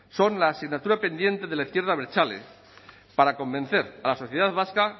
son la asignatura pendiente de la izquierda abertzale para convencer a la sociedad vasca